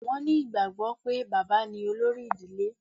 Wọn ní ìgbàgbọ́ pé, bàbá ní olórí ìdílé